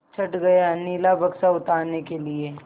चढ़ गया नीला बक्सा उतारने के लिए